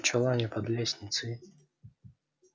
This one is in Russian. в чулане под лестницей